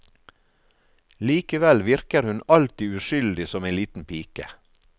Likevel virker hun alltid uskyldig som en liten pike.